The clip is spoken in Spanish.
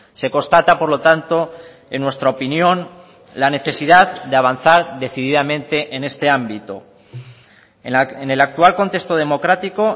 se constata por lo tanto en nuestra opinión la necesidad de avanzar decididamente en este ámbito en el actual contexto democrático